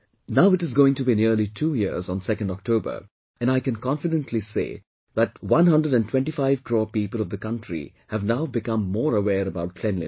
Now it is going to be nearly two years on 2nd October and I can confidently say that one hundred and twenty five crore people of the country have now become more aware about cleanliness